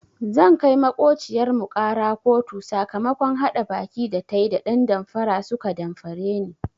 Zan kai maƙociyar mu ƙara kotu sakamakon haɗa baki da tayi da ɗan damfara suka damfare ni.